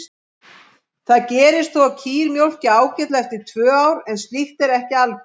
Það gerist þó að kýr mjólki ágætlega eftir tvö ár en slíkt er ekki algengt.